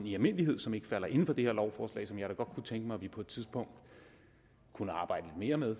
i almindelighed som ikke falder inden for det her lovforslag som jeg kunne tænke mig vi på et tidspunkt kunne arbejde mere med